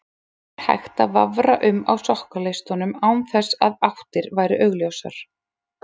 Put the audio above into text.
Þar var hægt að vafra um á sokkaleistunum án þess að áttir væru augljósar.